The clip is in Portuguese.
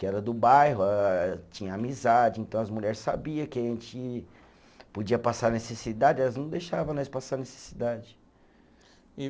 Que era do bairro eh, tinha amizade, então as mulher sabia que a gente podia passar necessidade, elas não deixava nós passar necessidade. E